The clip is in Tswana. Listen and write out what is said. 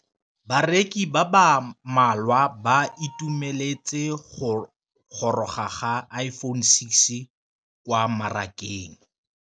Bareki ba ba malwa ba ituemeletse go gôrôga ga Iphone6 kwa mmarakeng.